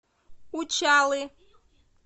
учалы